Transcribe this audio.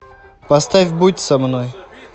поставь будь со мной